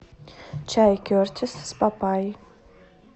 чай кертис с папайей